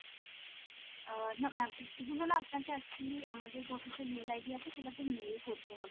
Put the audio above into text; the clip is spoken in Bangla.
আহ না ma'am এ~ এগুলো না আপনাকে actually আমাদের যে official mail ID আছে সেটা তে mail করতে হবে